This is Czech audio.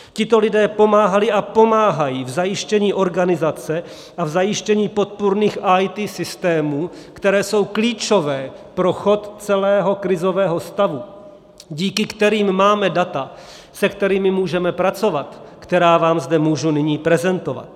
Tito lidé pomáhali a pomáhají v zajištění organizace a v zajištění podpůrných IT systémů, které jsou klíčové pro chod celého krizového stavu, díky kterým máme data, se kterými můžeme pracovat, která vám zde můžu nyní prezentovat.